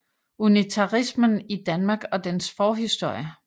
Unitarismen i Danmark og dens forhistorie